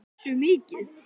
Sindri: Hversu mikið?